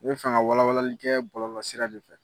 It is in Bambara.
Be fɛ ŋa walawalali kɛ bɔlɔlɔsira de fɛ.